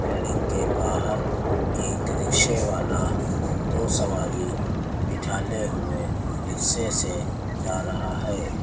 Building के बाहर एक रिक्शे वाला दो सवारी बिठाले हुए रिक्शे से जा रहा है।